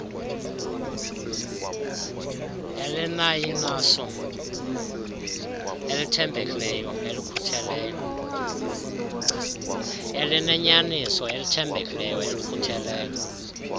elineyaniso elithembekileyo elikhutheleyo